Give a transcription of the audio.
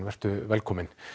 velkominn